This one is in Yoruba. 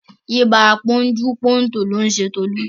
Ibà pọ́njú-pọ́ntọ̀ ló ń ṣe Tolú